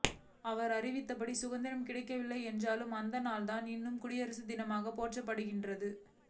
அவர் அறிவித்தப்படி சுதந்திரம் கிடைக்கவில்லை என்றாலும் அந்த நாள்தான் இன்று குடியரசு தினமாக போற்றப்படுகின்றது